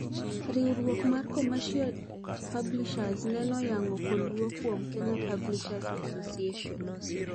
Riuruok mar commercial publishers nen oyang koluo kuom Kenya Publishers Association (KPA)